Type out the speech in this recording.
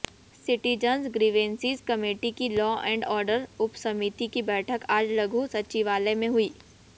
citizens grievances committee की law and order उपसमिति की बैठक आज लघु सचिवालय में हुई